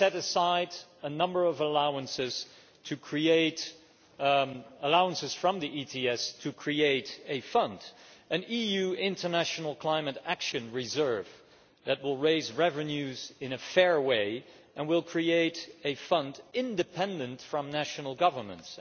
We set aside a number of allowances from the Emissions Trading Scheme to create a fund, an EU international climate action reserve that will raise revenues in a fair way and will create a fund independent of national governments.